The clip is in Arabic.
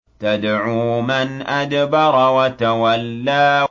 تَدْعُو مَنْ أَدْبَرَ وَتَوَلَّىٰ